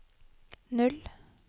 O